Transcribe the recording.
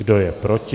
Kdo je proti?